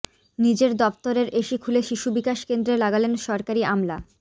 নিজের দফতরের এসি খুলে শিশু বিকাশ কেন্দ্রে লাগালেন সরকারি আমলা